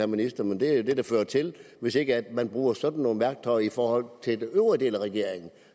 ministeren men det er jo det det fører til hvis ikke man bruger sådan nogle værktøjer i forhold til den øvrige del af regeringen